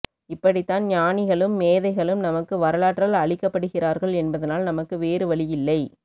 இப்படித்தான் ஞானிகளும் மேதைகளும் நமக்கு வரலாற்றால் அளிக்கப்படுகிறார்கள் என்பதனால் நமக்கு வேறு வழி இல்லை